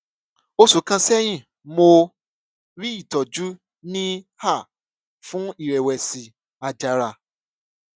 oṣù kan sẹyìn mo rí ìtójú ní er fún ìrẹwẹsì àjàrà